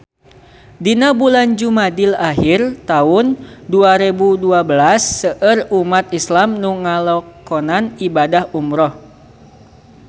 Dina bulan Jumadil ahir taun dua rebu dua belas seueur umat islam nu ngalakonan ibadah umrah